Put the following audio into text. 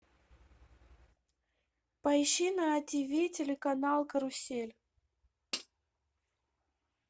поищи на тиви телеканал карусель